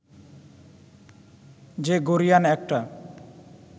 যে গরীয়ান একটা